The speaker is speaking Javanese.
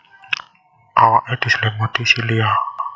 Awake diselimuti silia